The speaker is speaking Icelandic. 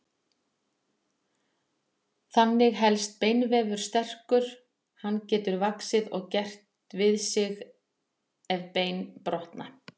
Þannig helst beinvefur sterkur, hann getur vaxið og gert við sig ef bein brotna.